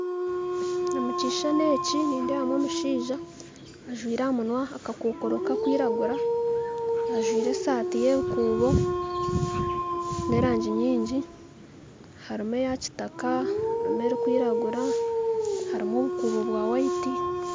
Omu kishushani eki nindeebamu omushaija ajwaire aha munwa akakokoro kakwiragura ajwaire esaati y'ebikuubo birikwiragura n'erangi nyingi harimu eya kitaka haruka erikwiragura harimu obukuubo bwa burikwera